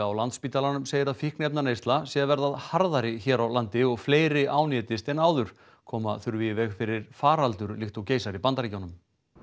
á Landspítalanum segir að fíkniefnaneysla sé að verða harðari hér á landi og fleiri ánetjist en áður koma þurfi í veg fyrir faraldur líkt og geisar í Bandaríkjunum